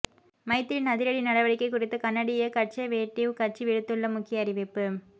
மைத்திரியின் அதிரடி நடவடிக்கை குறித்து கனடிய கன்சவேட்டிவ் கட்சி விடுத்துள்ள முக்கிய அறிவிப்பு